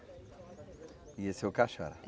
E esse é o Cachara?